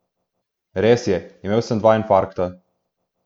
Res je, imel sem dva infarkta.